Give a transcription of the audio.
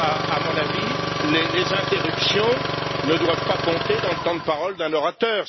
À mon avis, les interruptions ne doivent pas compter dans le temps de parole d'un orateur.